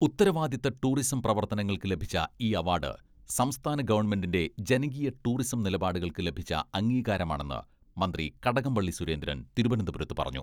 ഉത്തരവാദിത്ത ടൂറിസം പ്രവർത്തനങ്ങൾക്ക് ലഭിച്ച ഈ അവാഡ് സംസ്ഥാന ഗവൺമെന്റിന്റെ ജനകീയ ടൂറിസം നിലപാടുകൾക്ക് ലഭിച്ച അംഗീകാരമാണെന്ന് മന്ത്രി കടകംപള്ളി സുരേന്ദ്രൻ തിരുവനന്തപുരത്ത് പറഞ്ഞു.